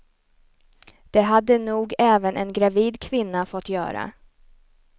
Det hade nog även en gravid kvinna fått göra.